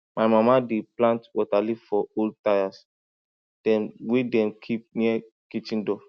my mama dey plant waterleaf for old tyre dem wey dem keep near kitchen door